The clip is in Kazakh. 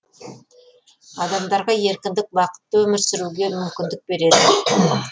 адамдарға еркіндік бақытты өмір сүруге мүмкіндік береді